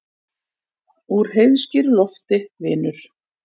Úr heiðskíru lofti, vinur.